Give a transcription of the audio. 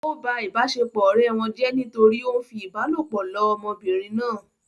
Ó ba ìbáṣepọ̀ ọ̀rẹ́ wọn jẹ́ nítorí ó ń fi ìbálòpọ̀ lọ ọmọbìnrin náà